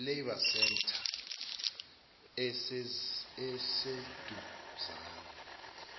labour centre esiseduzane